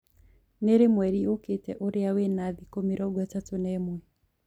ni rii mwerĩ ukiite ũrĩa wina thĩkũ mĩrongo itatu na umwe